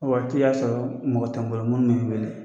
O waati y'a sɔrɔ mɔgɔ tɛ n bolo minnu wele